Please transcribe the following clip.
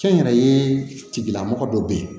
Kɛ n yɛrɛ ye tigilamɔgɔ dɔw bɛ yen